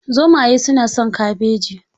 Zomaye suna son kabeji.